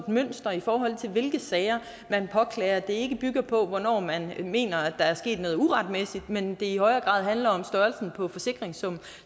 mønster i forhold til hvilke sager man påklager og at det ikke bygger på hvornår man mener at der er sket noget uretmæssigt men det i højere grad handler om størrelsen på forsikringssummen